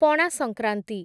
Pana Sankranti